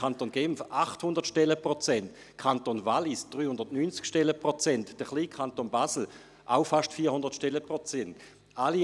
Der Kanton Genf hat 800 Stellenprozente, der Kanton Wallis hat 390 Stellenprozente, und der kleine Kanton Basel hat auch fast 400 Stellenprozente.